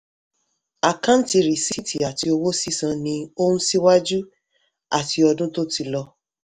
àkáǹtì rìsíìtì àti owó sísan ní ohun ṣíwájú àti ọdún tó ti lọ.